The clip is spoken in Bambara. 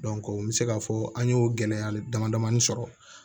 n bɛ se k'a fɔ an y'o gɛlɛya dama sɔrɔ